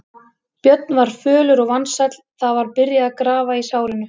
Björn var fölur og vansæll, það var byrjað að grafa í sárinu.